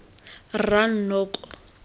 rranoko